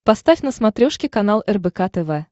поставь на смотрешке канал рбк тв